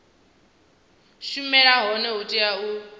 shumela hone hu tea u